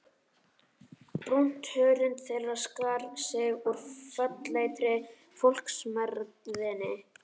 Brúnt hörund þeirra skar sig úr fölleitri fólksmergðinni.